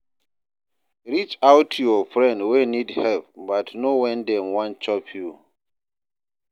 Reach out to your friend wey need help but know when dem wan chop you